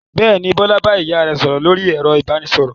Bẹ́ẹ̀ ni, Bọ́lá bá ìyá rẹ̀ sọ̀rọ̀ lórí ẹ̀rọ ìbanisọ̀rọ̀.